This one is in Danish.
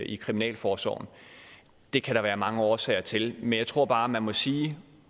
i kriminalforsorgen det kan der være mange årsager til men jeg tror bare man må sige at